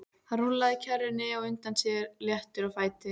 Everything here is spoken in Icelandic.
Hann rúllaði kerrunni á undan sér léttur á fæti.